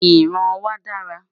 ìran wà dára